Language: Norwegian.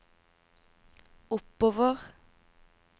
oppover